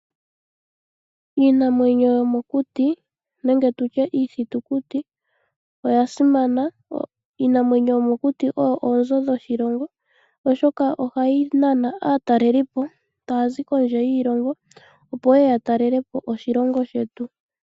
Iinamwenyo yomokuti nenge tutye iithitukuti oya simana. Iinamwenyo yomokuti oyo oonzo dhoshilongo, oshoka ohayi nana aatalelipo taya zi kondje yiilongo, opo yeye ya talele po oshilongo shetu.